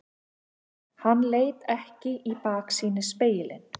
Hann leit ekki í baksýnisspegilinn.